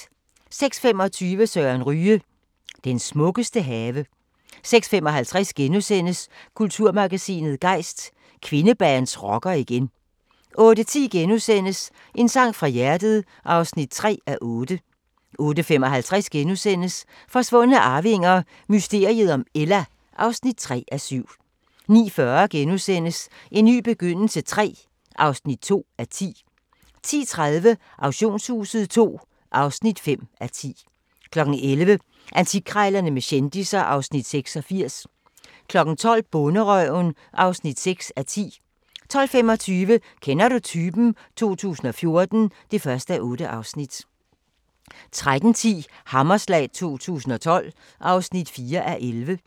06:25: Søren Ryge – den smukkeste have 06:55: Kulturmagasinet Gejst: Kvindebands rocker igen * 08:10: En sang fra hjertet (3:8)* 08:55: Forsvundne arvinger: Mysteriet om Ella (3:7)* 09:40: En ny begyndelse III (2:10)* 10:30: Auktionshuset II (5:10) 11:00: Antikkrejlerne med kendisser (Afs. 86) 12:00: Bonderøven (6:10) 12:25: Kender du typen? 2014 (1:8) 13:10: Hammerslag 2012 (4:11)